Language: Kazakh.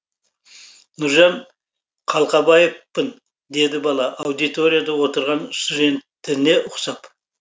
нұржан қалқабаевпын деді бала аудиторияда отырған студентіне ұқсап